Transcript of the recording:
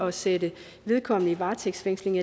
at sætte vedkommende i varetægtsfængsel